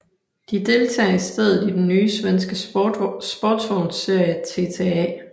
De deltager i stedet i den nye svenske sportsvogns serie TTA